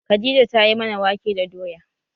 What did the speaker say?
Khadija tayi mana wake da doya